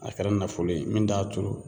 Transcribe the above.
A kɛra nafolo ye min t'a turu